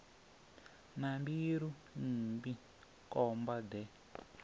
na mbilu mmbi khomba de